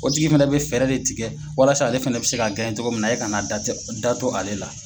O tigi fɛnɛ bɛ fɛɛrɛ de tigɛ walasa ale fana bɛ se ka cogo min na e kana da to da to ale la.